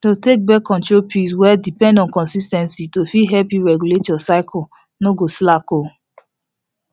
to take birth control pills well depend on consis ten cy to fit help you regulate your cycle no go slack o